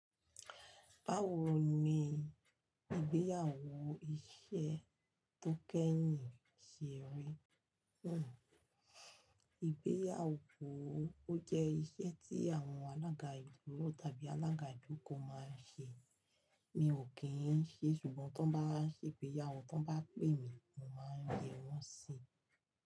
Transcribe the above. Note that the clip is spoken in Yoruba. Báwo ni ìgbéyàwó iṣẹ́ tó kẹ́yìn ṣe rí nù? Ìgbéyàwó ó jẹ́ iṣẹ́ tí àwọn alága ìlú tàbí alága ìdókò máa ń ṣe. Mi ò kín ń ṣe, ṣùgbọ́n tí wọ́n bá ṣe ìgbéyàwó, tí wọ́n bá pè mí, mo máa yẹ wọ́n si.